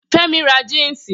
Femi ra jínsì.